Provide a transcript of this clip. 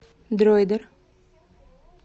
дроидер